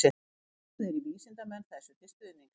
Vitnað er í vísindamenn þessu til stuðnings.